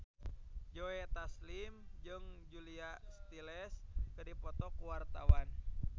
Joe Taslim jeung Julia Stiles keur dipoto ku wartawan